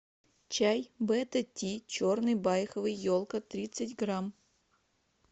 чай бета ти черный байховый елка тридцать грамм